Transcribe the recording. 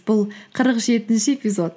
бұл қырық жетінші эпизод